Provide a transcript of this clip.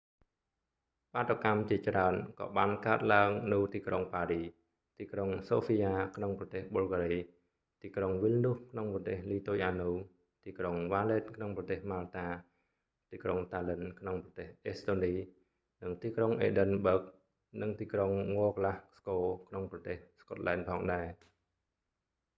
បាតុកម្មជាច្រើន ក៏បានកើតឡើងនៅទីក្រុងប៉ារីស ទីក្រុងសូហ្វីយ៉ាក្នុងប្រទេសប៊ុលហ្គារី ទីក្រុងវីលនូសក្នុងប្រទេសលីទុយអានៅ ទីក្រុងវ៉ាលេតក្នុងប្រទេសម៉ាល់តា ទីក្រុងតាល្លិន្នក្នុងប្រទេសអេស្តូនី និងទីក្រុងអេឌិនបើហ្គ និងទីក្រុងងក្លាស់ស្កូក្នុងប្រទេសស្កុតឡែនផងដែរ